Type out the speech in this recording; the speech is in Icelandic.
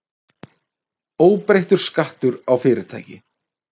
Óbreyttur skattur á fyrirtæki